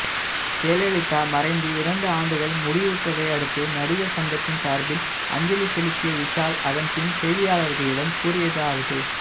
ஜெயலலிதா மறைந்து இரண்டு ஆண்டுகள் முடிவுற்றதை அடுத்து நடிகர் சங்கத்தின் சார்பில் அஞ்சலி செலுத்திய விஷால் அதன்பின் செய்தியாளர்களிடம் கூறியதாவது